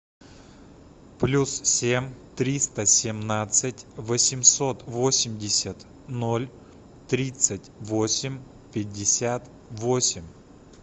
плюс семь триста семнадцать восемьсот восемьдесят ноль тридцать восемь пятьдесят восемь